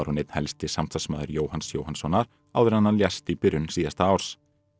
einn helsti samstarfsmaður Jóhanns Jóhannssonar áður en hann lést í byrjun síðasta árs